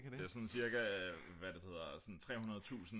det er sådan cirka hvad er det det hedder sådan 300.000